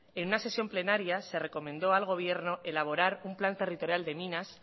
en una sesión plenaria se le recomendó al gobierno elaborar un plan territorial de minas